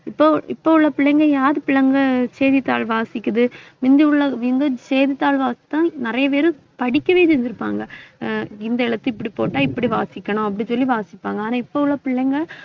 இப்போ, இப்போ உள்ள பிள்ளைங்க யாரு பிள்ளைங்க செய்தித்தாள் வாசிக்குது முந்தி உள்ள வந்து, செய்தித்தாள்களைத்தான் நிறைய பேரு படிக்கவே செஞ்சிருப்பாங்க ஆஹ் இந்த எழுத்து இப்படி போட்டா இப்படி வாசிக்கணும் அப்படி சொல்லி வாசிப்பாங்க ஆனா இப்ப உள்ள பிள்ளைங்க